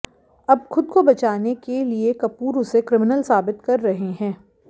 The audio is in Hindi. अब खुद को बचाने के लिए कपूर उसे क्रिमिनल साबित कर रहे हैं